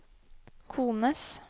kones